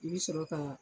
I bɛ sɔrɔ ka